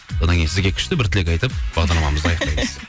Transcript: одан кейін сізге күшті бір тілек айтып бағдарламамызды аяқтаймыз